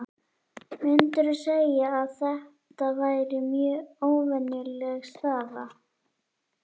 Myndirðu segja að þetta væri mjög óvenjuleg staða?